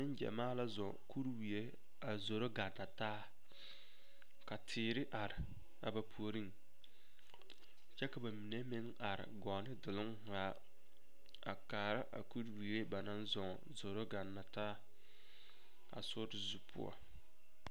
Neŋgyamaa la zɔɔ kuriwie a zoro ganna taa ka teere are a ba puoriŋ kyɛ ka ba mine meŋ are gɔɔ ne duluŋ zaa a kaara a kuriwie ba naŋ zɔɔ a zoro ganna taa a sori zu poɔ.